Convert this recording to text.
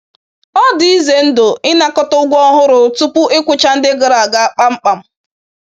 Ọ dị ize ndụ ịnakọta ụgwọ ọhụrụ tupu ịkwụcha ndị gara aga kpamkpam.